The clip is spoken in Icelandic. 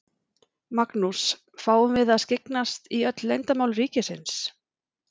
Magnús: Fáum við að skyggnast í öll leyndarmál ríkisins?